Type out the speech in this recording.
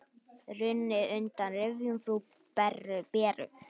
Runnið undan rifjum frú Beru.